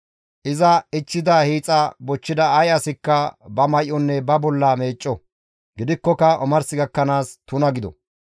Iza ichchida hiixa bochchida ay asikka ba may7onne ba bolla meecco; gidikkoka omars gakkanaas tuna gido;